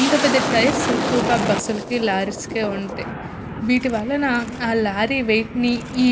ఇంత పెద్ద టైర్స్ ఎక్కువుగా బస్సు లకి లారీ కే ఉంటాయ్. వీటి వల్లనా ఆ లారీ వెయిట్ ని ఈ